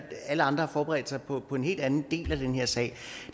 alle andre har forberedt sig på på en helt anden del af den sag